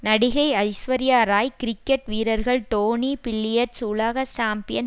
நடிகை ஐஸ்வர்யா ராய் கிரிக்கெட் வீரர்கள் டோனி பில்லியர்ட்ஸ் உலக சாம்பியன்